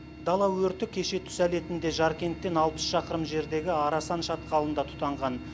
дала өрті кеше түс әлетінде жаркенттен алпыс шақырым жердегі арасан шатқалында тұтанған